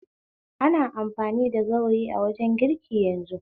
Ana amfani da gawayi dwajen girki yanzu